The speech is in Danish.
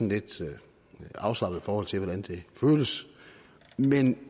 et lidt afslappet forhold til hvordan det føles men